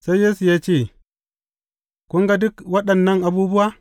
Sai Yesu ya ce, Kun ga duk waɗannan abubuwa?